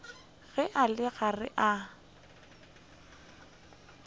ge a le gare a